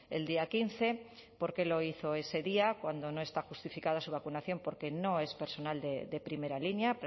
el día quince por qué lo hizo ese día cuando no está justificada su vacunación porque no es personal de primera línea